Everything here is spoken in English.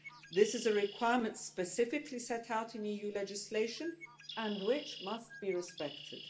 This is a requirement specifically set out in EU legislation and which must be respected.